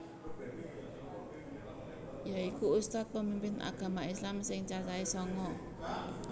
Yaiku ustadz pemimpin agama islam sing cacahe sanga